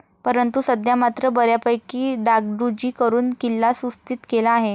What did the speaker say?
परंतु सध्या मात्र बऱ्यापकी डागडुजी करून किल्ला सुस्थित केला आहे.